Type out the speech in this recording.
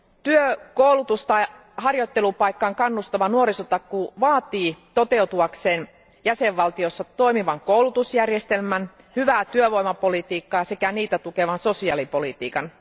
Työ koulutus tai harjoittelupaikkaan kannustava nuorisotakuu vaatii toteutuakseen jäsenvaltioissa toimivan koulutusjärjestelmän, hyvää työvoimapolitiikkaa sekä niitä tukevan sosiaalipolitiikan.